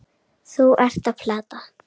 Þú ert að plata.